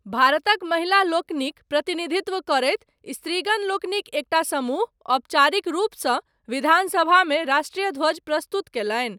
भारतक महिलालोकनिक प्रतिनिधित्व करैत, स्त्रीगणलोकनिक एकटा समूह, औपचारिक रूपसँ, विधानसभामे राष्ट्रीय ध्वज प्रस्तुत कयलनि।